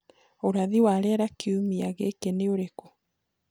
ũrathi wa rĩera kĩumĩa giki ni ũrĩkũ